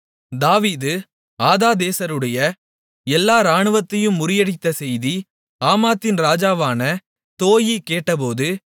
தாவீது ஆதாதேசருடைய எல்லா இராணுவத்தையும் முறியடித்த செய்தியை ஆமாத்தின் ராஜாவான தோயீ கேட்டபோது